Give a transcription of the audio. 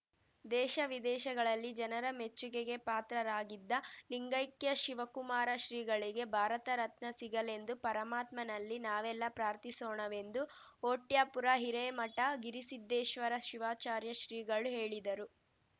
ದೇಶ ವಿದೇಶಗಳಲ್ಲಿ ಜನರ ಮೆಚ್ಚುಗೆಗೆ ಪಾತ್ರರಾಗಿದ್ದ ಲಿಂಗಕ್ಯಶಿವಕುಮಾರ ಶ್ರೀಗಳಿಗೆ ಭಾರತರತ್ನ ಸಿಗಲೆಂದು ಪರಮಾತ್ಮನಲ್ಲಿ ನಾವೆಲ್ಲಾ ಪ್ರಾರ್ಥಿಸೋಣವೆಂದು ಹೊಟ್ಯಾಪುರ ಹಿರೇಮಠ ಗಿರಿಸಿದ್ದೇಶ್ವರ ಶಿವಾಚಾರ್ಯ ಶ್ರೀಗಳು ಹೇಳಿದರು